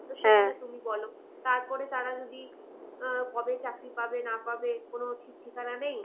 তুমি বলো। তারপরে তারা যদি আহ কবে চাকরি পাবে না পাবে কোনো ঠিক ঠিকানা নেই